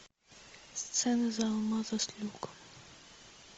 сцена за алмазы с люком